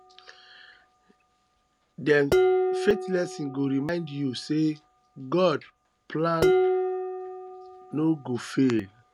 um dem faith lessons go remind yu um say gods plan no um go fail